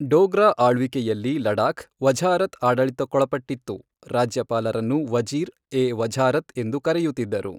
ಡೋಗ್ರಾ ಆಳ್ವಿಕೆಯಲ್ಲಿ ಲಡಾಖ್ ವಝಾರತ್ ಆಡಳಿತಕ್ಕೊಳಪಟ್ಟಿತ್ತು, ರಾಜ್ಯಪಾಲರನ್ನು ವಜೀರ್ ಎ ವಝಾರತ್ ಎಂದು ಕರೆಯುತ್ತಿದ್ದರು.